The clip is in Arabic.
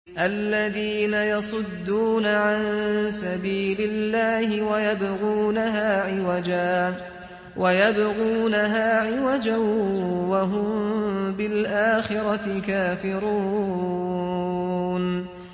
الَّذِينَ يَصُدُّونَ عَن سَبِيلِ اللَّهِ وَيَبْغُونَهَا عِوَجًا وَهُم بِالْآخِرَةِ كَافِرُونَ